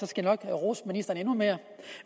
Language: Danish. skal rose ministeren endnu mere